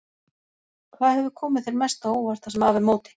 Hvað hefur komið þér mest á óvart það sem af er móti?